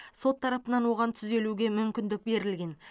сот тарапынан оған түзелуге мүмкіндік берілген